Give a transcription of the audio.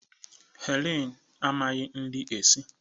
Helen amaghị nri esi.